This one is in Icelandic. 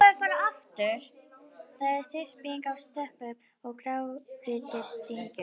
Þar er þyrping af stöpum og grágrýtisdyngjum.